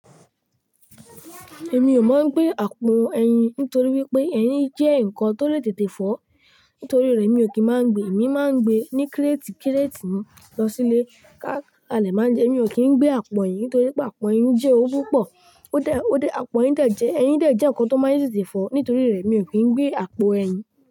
Èmi ò mọ gbé àpò ẹyin nítorí wípé ẹyin jẹ́ nǹkan tó lè tètè fọ́. Nítorí rẹ̀ mi ò kì í máa ń gbe. Èmi máa ń gbe ní kírétì kírétì ni lọ sílé ká alẹ́ má jẹ. Mi ò kí ń gbé àpò ẹyin nítorí pé àpò ẹyin jẹ́ o púpọ̀. Ó dẹ, ó dẹ, àpò ẹyin dẹ jẹ́, ẹyin dẹ jẹ́ ǹkan tó máa ń tètè fọ́. Nítorí rẹ̀ mi ò kí ń gbé àpò ẹyin.